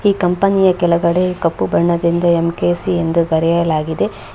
ಈ ಕಂಪನಿಯ ಕೆಲಗಡೆ ಕಪ್ಪು ಬಣ್ಣದಿಂದ ಎಂ_ಕೆ_ಸಿ ಎಂದು ಬರೆಯಲಾಗಿದೆ.